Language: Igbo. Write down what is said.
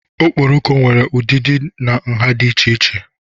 Okporoko nwere ụdịdị na nha dị iche iche.